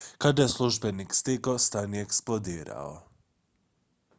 kada je službenik stigao stan je eksplodirao